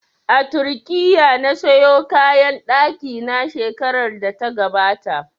A Turkiya na sayo kayan ɗaki na shekarar da ta gabata